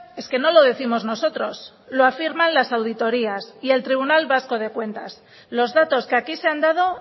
es que no lo décimos nosotros lo afirman las auditorías y el tribunal vasco de cuentas los datos que aquí se han dado